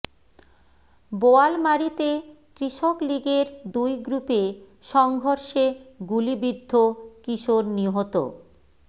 বোয়ালমারীতে কৃষক লীগের দুই গ্রুপে সংঘর্ষে গুলিবিদ্ধ কিশোর নিহত